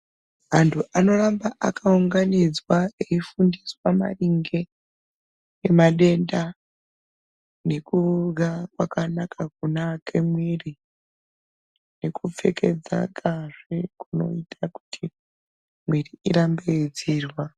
Antu anoramba akaunganidzwa eifundiswa maringe nemadenda nekuhya kwakanaka kunoake muiri nekupfekedzakazve kunoita kuti muiri irambe yeidziirwa